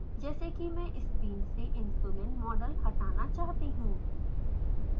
जैसे कि मैं स्क्रीन से insulin मॉडल हटाना चाहती हूँ